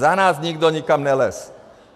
Za nás nikdo nikam nelezl.